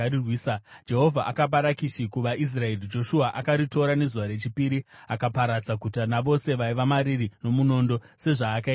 Jehovha akapa Rakishi kuvaIsraeri, Joshua akaritora nezuva rechipiri. Akaparadza guta navose vaiva mariri nomunondo, sezvaakaita Ribhina.